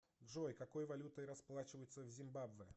джой какой валютой расплачиваются в зимбабве